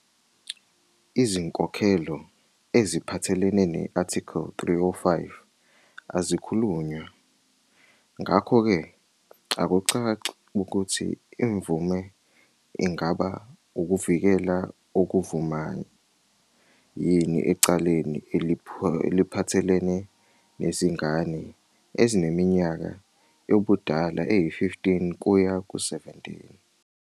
Izinkokhelo eziphathelene ne-Article 305 azikhulunywa, ngakho-ke akucaci ukuthi imvume ingaba ukuvikela okuvumayo yini ecaleni eliphathelene nezingane ezineminyaka yobudala eyi-15-17.